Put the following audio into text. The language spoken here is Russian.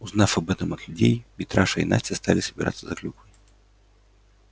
узнав об этом от людей митраша и настя стали собираться за клюквой